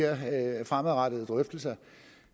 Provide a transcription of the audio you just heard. fremadrettede drøftelser